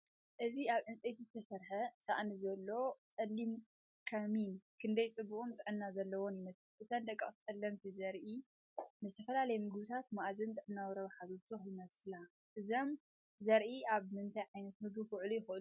እዚ ኣብ ዕንጨይቲ ዝተሰርሐ ሳእኒ ዘሎ ጸሊም ከሚን ክንደይ ጽቡቕን ጥዕና ዘለዎን ይመስል! እተን ደቀቕቲ ጸለምቲ ዘርኢ ንዝተፈላለዩ መግብታት መኣዛን ጥዕናዊ ረብሓን ዝውስኻ ይመስላ። እዞም ዘርኢ ኣብ ምንታይ ዓይነት ምግቢ ክውዕሉ ይኽእሉ?